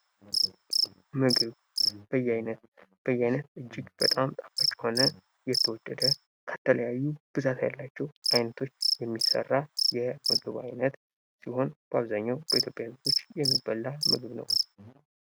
ምግብ ፦ በየአይነት፦ በየአይነት እጅግ በጣም ጣፋጭ የሆነ የተወደደ ከተለያዩ ብዛት ያላቸው አይነቶች የሚሰራ የምግብ አይነት ሲሆን በአብዛኛው በኢትዮጵያ ልጆች የሚበላ ምግብ ነው።